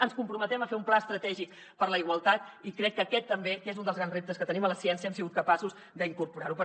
ens comprometem a fer un pla estratègic per a la igualtat i crec que aquest també que és un dels grans reptes que tenim a la ciència hem sigut capaços d’incorporar lo